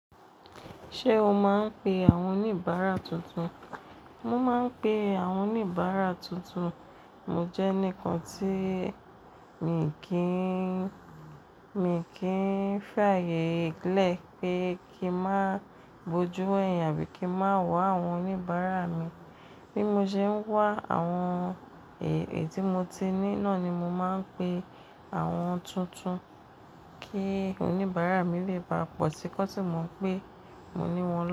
Ṣé o máa ń pe àwọn oníbàárà tuntun? Mo máa ń pe àwọn oníbàárà tuntun. Mo jẹ́ enikan tí mi kìn, mi kìn fàyè lẹ pé kí máa bojú wẹyìn àbí kí máa wa àwọn oníbàárà mi. Bí mo ṣe ń wá àwọn èyí tí mo ti ní náà ni mo máa ń pe àwọn tuntun kí oníbàárà mi lè bá a pọ̀ sí kọ́n sí mò ń pé mo ní wọn.